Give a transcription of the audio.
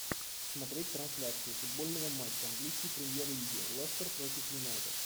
смотреть трансляцию футбольного матча английской премьер лиги лестер против юнайтед